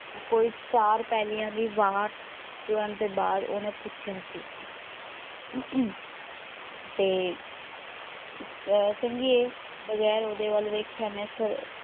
ਕੋਈ ਚਾਰ ਪੈਲੀਆਂ ਦੀ ਵਾਟ ਤੁਰਨ ਤੇ ਬਾਅਦ ਉਹਨੇ ਪੁੱਛਿਆ ਸੀ ਤੇ ਅਹ ਚੰਗੀ ਏ ਬਗੈਰ ਉਹਦੇ ਵੱਲ ਵੇਖਿਆਂ ਮੈਂ ਸਰ~